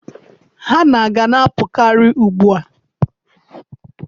Hanna ga na-apụkarị ugbu a.